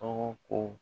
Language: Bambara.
Tɔgɔ ko